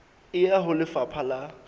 e ya ho lefapha la